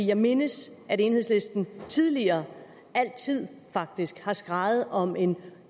jeg mindes at enhedslisten tidligere faktisk altid har skreget om en